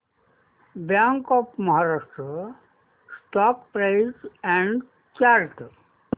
bank of Maharashtra stock price and chart